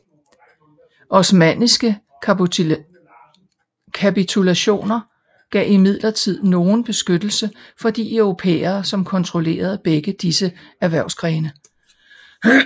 Osmanniske kapitulationer gav imidlertid nogen beskyttelse for de europæere som kontrollerede begge disse erhvervsgrene